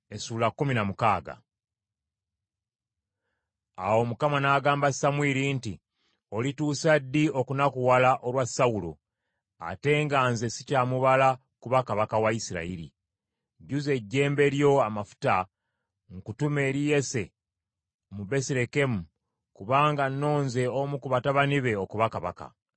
Awo Mukama n’agamba Samwiri nti, “Olituusa ddi okunakuwala olwa Sawulo, ate nga nze sikyamubala kuba kabaka wa Isirayiri? Jjuza ejjembe lyo amafuta nkutume eri Yese Omubesirekemu kubanga nnonze omu ku batabani be okuba kabaka.”